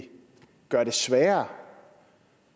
gøre det sværere